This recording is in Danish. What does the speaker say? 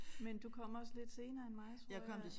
Men du kom også lidt senere end mig tror jeg